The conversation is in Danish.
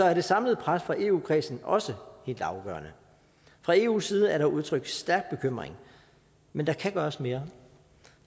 er det samlede pres fra eu kredsen også helt afgørende fra eus side er der udtrykt stærk bekymring men der kan gøres mere